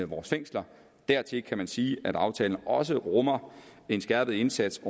vores fængsler dertil kan man sige at aftalen også rummer en skærpet indsats